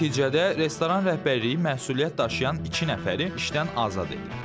Nəticədə restoran rəhbərliyi məsuliyyət daşıyan iki nəfəri işdən azad edib.